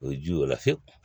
O ye jula fiyewu